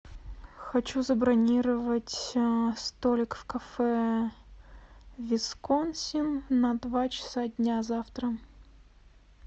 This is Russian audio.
хочу забронировать столик в кафе висконсин на два часа дня завтра